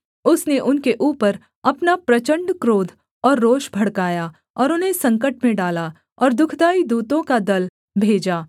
उसने उनके ऊपर अपना प्रचण्ड क्रोध और रोष भड़काया और उन्हें संकट में डाला और दुःखदाई दूतों का दल भेजा